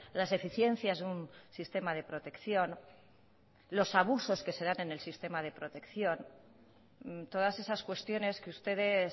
las eficiencias de un sistema de protección los abusos que se dan en el sistema de protección todas esas cuestiones que ustedes